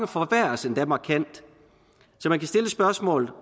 forværres endda markant så man kan stille spørgsmålet